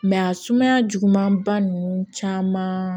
a sumaya jugumanba ninnu caman